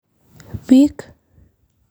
Bik.